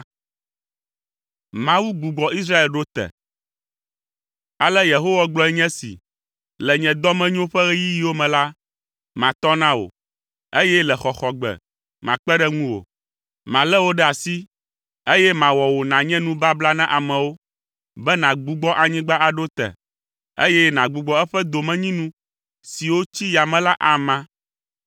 Ale Yehowa gblɔe nye esi, “Le nye dɔmenyo ƒe ɣeyiɣiwo me la, matɔ na wò, eye le xɔxɔgbe makpe ɖe ŋu wò. Malé wò ɖe asi, eye mawɔ wò nànye nubabla na amewo, be nàgbugbɔ anyigba aɖo te, eye nagbugbɔ eƒe domenyinu siwo tsi yame la ama,